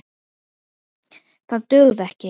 Það dugði ekki.